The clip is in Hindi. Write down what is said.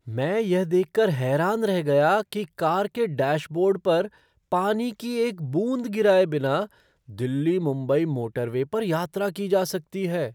मैं यह देख कर हैरान रह गया कि कार के डैशबोर्ड पर पानी की एक बूंद गिराए बिना दिल्ली मुंबई मोटरवे पर यात्रा की जा सकती है!